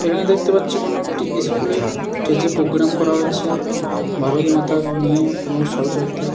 এখানে দেখতে পাচ্ছি কোন একটি স্কুল -এর স্টেজ -এ প্রোগ্রাম করা হয়েছে ভারতমাতার নিয়ে এবং সরস্বতী--